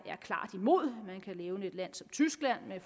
klart imod man kan nævne et land som tyskland med